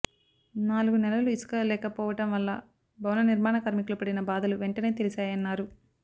నాలుగు నెలలు ఇసుక లేకపోవడం వల్ల భవన నిర్మాణ కార్మికులు పడిన బాధలు వెంటనే తెలిశాయన్నారు